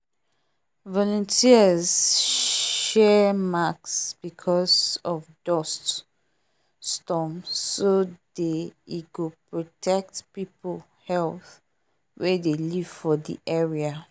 volunteers share mask because of dust storm so day e go protect people health wey dey live for the area